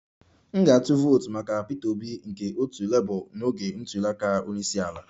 M ga-atụ vootu maka Peter Obi nke otu Labour n'oge ntuli aka onye isi ala